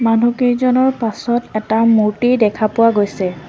মানুহকেইজনৰ পাছত এটা মূৰ্ত্তি দেখা পোৱা গৈছে।